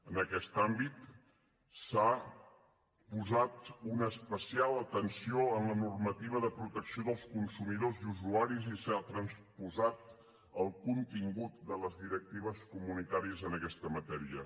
en aquest àmbit s’ha posat una especial atenció en la normativa de protecció dels consumidors i usuaris i s’ha transposat el contingut de les directives comunitàries en aquesta matèria